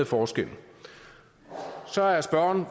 forskellen så er spørgeren